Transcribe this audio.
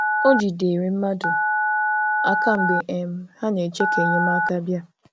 O jidere mmadụ aka mgbe um ha na-eche ka enyemaka bịa